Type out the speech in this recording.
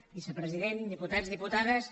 vicepresident diputats diputades